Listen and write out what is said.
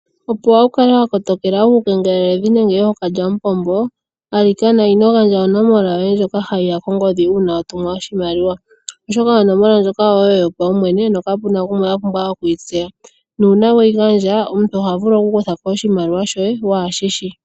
Opo wu kale wa kotoleka uukengelelidhi nenge ookalyamupombo , alikana ino gandja onomola yoye ndjoka hayi ya kongodhi uuna wa tuminwa oshimaliwa, oshoka oonomola ndjoka oyoye yopaumwene nokapu na ngoka gumwe a pumbwa okuyitseya. Uuna weyi gandja omuntu oha vulu okukutha ko oshimaliwa shoye waa shi shi .